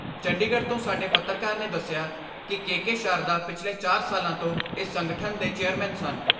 ਚੰਡੀਗੜ੍ਹ ਤੋਂ ਸਾਡੇ ਪੱਤਰਕਾਰ ਨੇ ਦਸਿਆ ਕਿ ਕੇ ਕੇ ਸ਼ਾਰਦਾ ਪਿਛਲੇ ਚਾਰ ਸਾਲਾ ਤੋਂ ਇਸ ਸੰਗਠਨ ਦੇ ਚੇਅਰਮੈਨ ਸਨ।